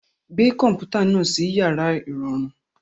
Gbé kọ̀m̀pútà náà sí yàrá ìrọ̀rùn.